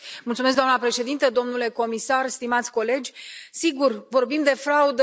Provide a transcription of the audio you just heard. Doamnă președintă, domnule comisar, stimați colegi, vorbim de fraudă.